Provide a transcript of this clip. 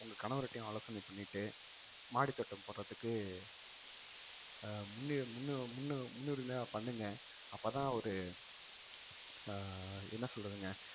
உங்க கணவர்கிட்டயும் ஆலோசனை பண்ணிட்டு மாடித்தோட்டம் போடுறதுக்கு அஹ் முன்~ முன்னு~ முன்னு~ முன்னுரிமையா பண்ணுங்க அப்பதான் ஒரு அஹ் என்ன சொல்றதுங்க